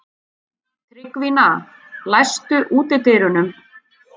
Tryggvína, læstu útidyrunum.